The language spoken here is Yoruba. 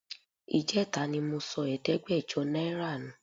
Ìjẹta ni mo sọ ẹ̀ẹ́dẹ́gbẹ̀jọ náírà nù